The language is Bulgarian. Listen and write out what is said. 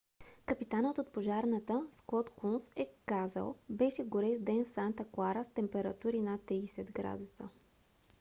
капитанът от пожарната скот кунс е казал: беше горещ ден в санта клара с температури над 30 градуса